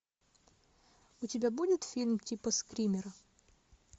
у тебя будет фильм типа скримера